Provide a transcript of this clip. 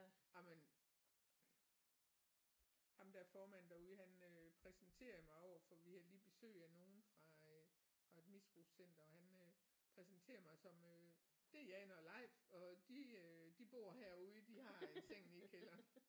Jamen ham der er formand derude han øh præsenterede mig overfor vi havde lige besøg af nogen fra øh fra et misbrugscenter og øh han præsenterede mig som øh det er Jane og Leif og de øh de bor herude de har en seng nede i kælderen